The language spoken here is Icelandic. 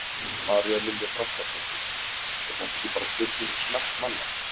María Lilja Þrastardóttir: Er þetta ekki bara spurning um smekk manna?